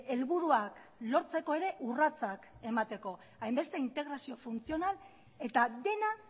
helburuak lortzeko ere urratsak emateko hainbeste integrazio funtzional eta dena